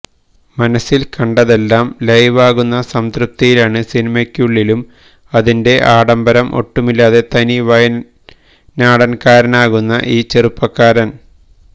മനസില് കണ്ടതെല്ലാം ലൈവാകുന്ന സംതൃപ്തിയിലാണ് സിനിമയ്ക്കുള്ളിലും അതിന്റെ ആഡംബരം ഒട്ടുമില്ലാതെ തനി വയനാടന്കാരനാകുന്ന ഈ ചെറുപ്പക്കാരന്